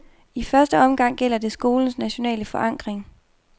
I første omgang gælder det skolens nationale forankring.